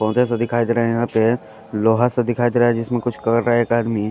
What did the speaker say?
पौधे से दिखाई दे रहे यहाँ पे लोहा सा दिखाई दे रहा है जिस में कुछ कर रहा है एक आदमी --